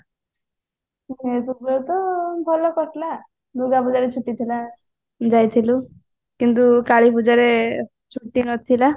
ଭଲ କରିଥିଲା ଦୂର୍ଗା ପୂଜାରେ ଛୁଟି ଥିଲା ଯାଇଥିଲୁ କିନ୍ତୁ କାଳୀ ପୂଜାରେ ଛୁଟି ନଥିଲା